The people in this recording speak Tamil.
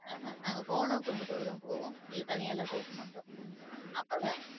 ஆஹ் நாங்க போனா குடுப்பதோடதான் போவோம் இல்ல தனியா எல்லா போகமாட்டோம். அப்பதான்